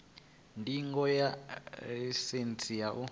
ndingo ya ḽaisentsi ya u